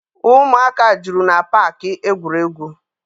Ụmụaka juru na paakị egwuregwu.